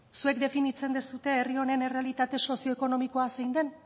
zuek definitzen duzue herri honen errealitate sozioekonomikoa zein den